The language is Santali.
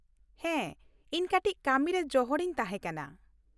ᱦᱮᱸ, ᱤᱧ ᱠᱟᱹᱴᱤᱪ ᱠᱟᱹᱢᱤ ᱨᱮ ᱡᱚᱦᱚᱲ ᱤᱧ ᱛᱟᱦᱮᱸ ᱠᱟᱱᱟ ᱾